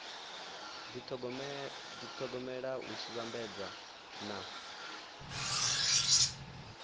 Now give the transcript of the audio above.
dithogomela hu tshi vhambedzwa na